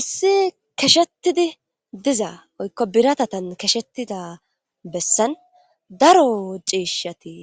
issi keshetidi diza oykko biratatan keshettida bessan daro ciishshati